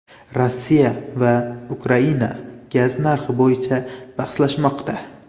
Rossiya va Ukraina gaz narxi bo‘yicha bahslashmoqda.